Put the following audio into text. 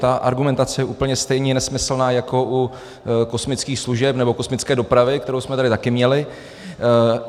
Ta argumentace je úplně stejně nesmyslná jako u kosmických služeb nebo kosmické dopravy, kterou jsme tady taky měli.